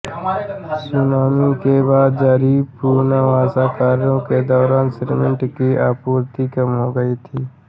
tsunami के बाद जारी पुनर्वास कार्यों के दौरान सीमेंट की आपूर्ति कम हो गई थी